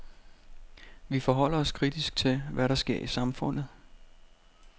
Vi forholder os kritisk til, hvad der sker i samfundet.